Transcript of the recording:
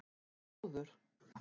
Þrúður